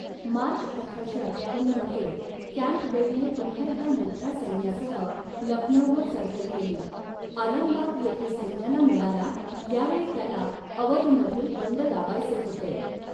मार्च अठराशे अठ्ठावन्न मध्ये, कॅम्पबेलने पुन्हा एकदा मोठ्या सैन्यासह लखनौवर चढाई केली, आलमबाग येथे सैन्याला मिळाला, यावेळी त्याला अवधमधील बंड दाबायचे होते.